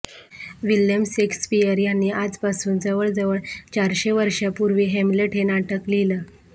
Williams Shakespeare यांनी आजपासून जवळजवळ चारशे वर्षापूर्वी हॅम्लेट हे नाटक लिहिलं